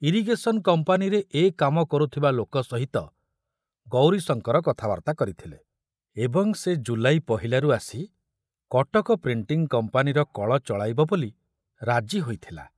Irrigation କମ୍ପାନୀରେ ଏ କାମ କରୁଥିବା ଲୋକ ସହିତ ଗୌରୀଶଙ୍କର କଥାବାର୍ତ୍ତା କରିଥିଲେ ଏବଂ ସେ ଜୁଲାଇ ପହିଲାରୁ ଆସି କଟକ ପ୍ରିଣ୍ଟିଂ କମ୍ପାନୀର କଳ ଚଳାଇବ ବୋଲି ରାଜି ହୋଇଥିଲା।